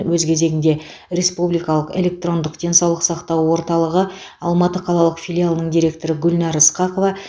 өз кезегінде республикалық электрондық денсаулық сақтау орталығы алматы қалалық филиалының директоры гүлнар ысқақова